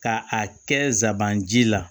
Ka a kɛ zabanji la